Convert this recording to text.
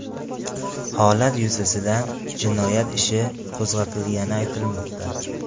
Holat yuzasidan jinoyat ishi qo‘zg‘atilgani aytilmoqda.